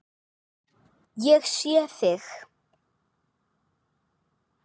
Ég sé þig.